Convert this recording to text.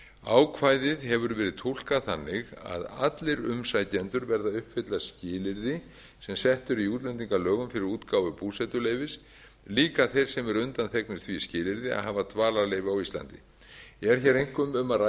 ákvæðið hefur verið túlkað þannig að allir umsækjendur verða að uppfylla skilyrði sem sett eru í útlendingalögum fyrir útgáfu búsetuleyfis líka þeir sem eru undanþegnir því skilyrði að hafa dvalarleyfi á íslandi er hér einkum um að